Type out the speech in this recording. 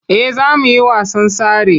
Eh za mu yi wasan tsare.